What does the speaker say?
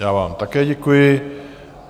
Já vám také děkuji.